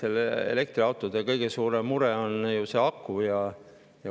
Eks elektriautode kõige suurem mure on ju aku.